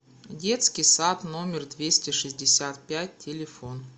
детский сад номер двести шестьдесят пять телефон